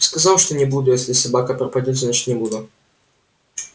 сказал что не буду если собака пропадёт значит не буду